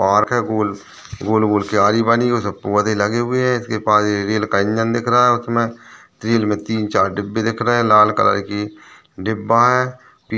Park है गोल गोल गोल क्यारी बनी हुई है उसमे पौधे लगे हुए है इसके पास रेल का इंजन दिख रहा है उसमे रेल में तीन चार डिब्बे दिख रहे है लाल कलर की डिब्बा हैं।